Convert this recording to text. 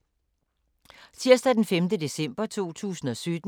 Tirsdag d. 5. december 2017